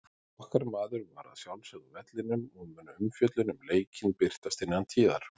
Okkar maður var að sjálfsögðu á vellinum og mun umfjöllun um leikinn birtast innan tíðar.